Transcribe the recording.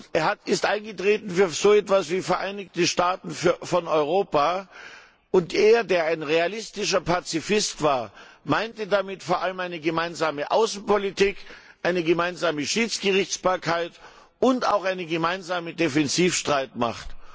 Er ist eingetreten für so etwas wie Vereinigte Staaten von Europa und er, der ein realistischer Pazifist war, meinte damit vor allem eine gemeinsame Außenpolitik, eine gemeinsame Schiedsgerichtbarkeit und auch eine gemeinsame Defensivstreitmacht.